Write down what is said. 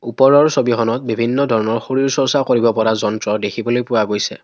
ওপৰৰ ছবিখনত বিভিন্ন ধৰণৰ শৰীৰ চৰ্চ্চা কৰিব পৰা যন্ত্ৰ দেখিবলৈ পোৱা গৈছে।